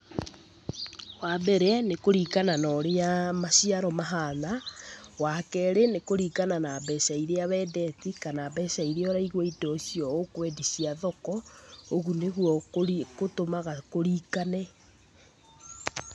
Wa mbere, nĩ kũringana na ũrĩa maciaro mahana. Wa keerĩ nĩ kũringana na mbeca iria wendetie kana mbeca iria ũraigua indo icio ũkwendi cia thoko, ũguo nĩguo gũtũmaga kũringane.